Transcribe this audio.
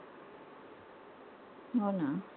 हो ना.